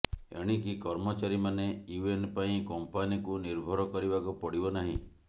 ଏଣିକି କର୍ମଚାରୀ ମାନେ ୟୁଏନ ପାଇଁ କମ୍ପାନୀକୁ ନିର୍ଭର କରିବାକୁ ପଡିବନାହିଁ